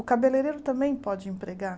O cabeleireiro também pode empregar.